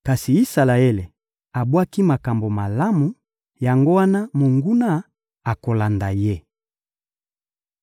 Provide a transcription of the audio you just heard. Kasi Isalaele abwaki makambo malamu; yango wana, monguna akolanda ye.